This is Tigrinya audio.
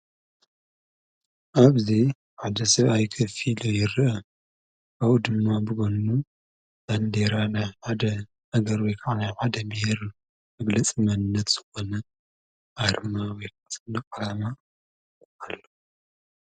ኣብዚ ሓደ ሰብኣይ ኮፍ ኢሉ ይርአ ኣብኡ ድማ ብጐኑ ባንዴራ ናይ ሓደ ኣገር ወይካኣ ናይ ሓደ ቤሄር ዝገልፅ መንነት ዝኮነ ኣርማ ዓላማ ኣሎ።